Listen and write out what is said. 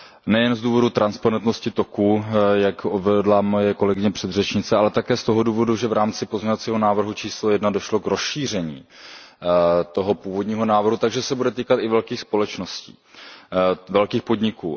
Nejen z důvodu transparentnosti toku, jak uvedla moje kolegyně předřečnice, ale také z toho důvodu, že v rámci pozměňovacího návrhu číslo jedna došlo k rozšíření toho původního návrhu, takže se bude týkat i velkých společností, velkých podniků.